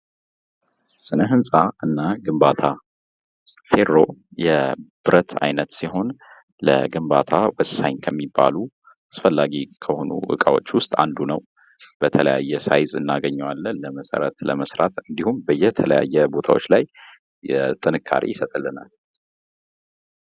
ስነ ህንፃ እና ግንባታ ፌሮ የብረት አይነት ሲሆን ለግንባታ ወሳኝ ከሚባሉ አስፈላጊ ከሆኑ እቃዎች ውስጥ አንዱ ነው። በተለያየ ሳይዝ እናገኘዋለን መሰረት ለመስራት እንዲሁም በተለያየ ቦታዎች ላይ ጥንካሬ ይሰጥልናል።